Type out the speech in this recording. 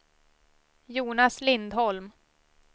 Jonas Lindholm